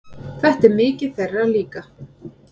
Þetta er mikið þeirra líka.